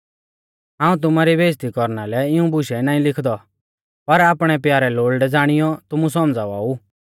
हाऊं तुमारी बेइज़्ज़ती कौरना लै इऊं बुशै नाईं लिखदौ पर आपणै प्यारै लोल़डै ज़ाणियौ तुमु सौमझ़ावा ऊ